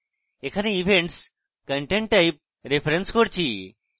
এখানে events content type reference করছি